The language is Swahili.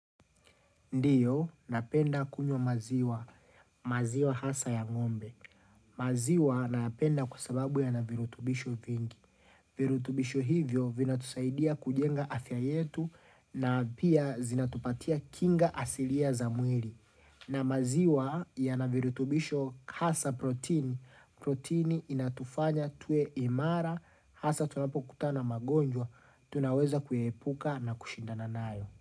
Ndiyo, napenda kunywa maziwa, maziwa hasa ya ngombe. Maziwa nayapenda kwa sababu yana virutubisho vingi. Virutubisho hivyo vina tusaidia kujenga afya yetu na pia zinatupatia kinga asilia za mwiri. Na maziwa yana virutubisho hasa protini, protini inatufanya tuwe imara, hasa tunapo kutana na magonjwa, tunaweza kuyepuka na kushindana nayo.